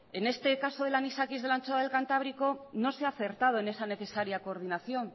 en este caso del anisakis de la anchoa del cantábrico no se ha acertado en esa necesaria coordinación